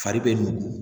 Fari bɛ nugu